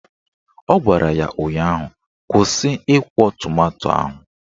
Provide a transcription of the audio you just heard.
Ọ gwara ya ụnyaahụ "Kwụsị ịkwọ tomanto ahụ!"